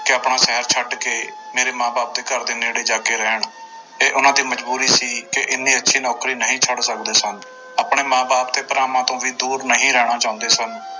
ਕਿ ਆਪਣਾ ਸ਼ਹਿਰ ਛੱਡ ਕੇ ਮੇਰੇ ਮਾਂ ਬਾਪ ਦੇ ਘਰਦੇ ਨੇੜੇ ਜਾ ਕੇ ਰਹਿਣ ਇਹ ਉਹਨਾਂ ਦੀ ਮਜ਼ਬੂਰੀ ਸੀ ਕਿ ਇੰਨੀ ਅੱਛੀ ਨੌਕਰੀ ਨਹੀਂ ਛੱਡ ਸਕਦੇ ਸਨ, ਆਪਣੇ ਮਾਂ ਬਾਪ ਤੇ ਭਰਾਵਾਂ ਤੋਂ ਵੀ ਦੂਰ ਨਹੀਂ ਰਹਿਣਾ ਚਾਹੁੰਦੇ ਸਨ।